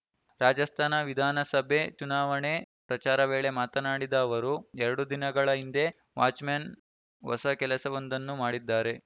ರಾಜಸ್ಥಾನ ವಿಧಾನಸಭೆ ಚುನಾವಣೆ ಪ್ರಚಾರ ವೇಳೆ ಮಾತನಾಡಿದ ಅವರು ಎರಡು ದಿನಗಳ ಹಿಂದೆ ವಾಚ್‌ಮ್ಯಾನ್‌ ಹೊಸ ಕೆಲಸವೊಂದನ್ನು ಮಾಡಿದ್ದಾರೆ